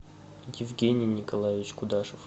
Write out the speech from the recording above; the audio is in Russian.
евгений николаевич кудашев